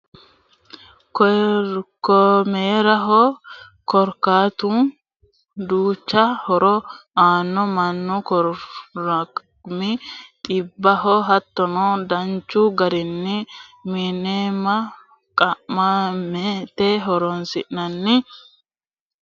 Koroorimaho, koroorimu duucha horo aanno, manu koroorima xibaho hattono danchu garini qimame qama'maete horonsinanni konninnino dancho foole afidhino qimame loosa dandinanni